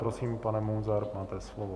Prosím, pane Munzare, máte slovo.